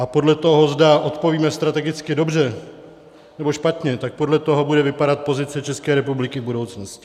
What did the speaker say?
A podle toho, zda odpovíme strategicky dobře, nebo špatně, tak podle toho bude vypadat pozice ČR v budoucnosti.